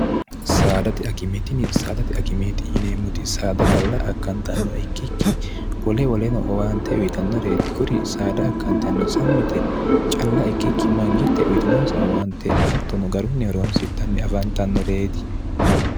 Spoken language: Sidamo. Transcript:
saadati akimeetinni saadati akimeeti yineemmoti saada calla akkantannoh ikkikki wole woleno owaante uyitannoreeti kuri saada akkantanno sammite calla ikkikki mangitte uyitinoonsa owaante attono garunnioroonsidhanni afantannoreeti